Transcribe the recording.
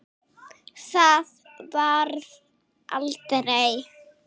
Það varð aldrei!